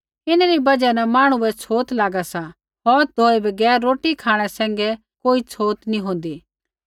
इन्हरी बजहा न मांहणु बै छ़ोत लागा सा हौथ धोऐ बगैर रोटी खाँणै सैंघै कोई छ़ोत नी होंदी